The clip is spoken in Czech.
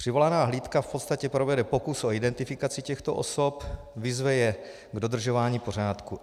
Přivolaná hlídka v podstatě provede pokus o identifikaci těchto osob, vyzve je k dodržování pořádku.